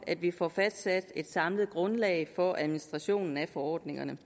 at vi får fastsat et samlet grundlag for administrationen af forordningerne